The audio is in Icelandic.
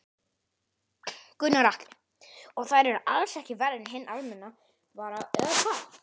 Gunnar Atli: Og þær eru alls ekki verri en hinn almenna vara eða hvað?